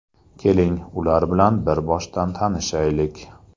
Keling, ular bilan bir boshdan tanishaylik.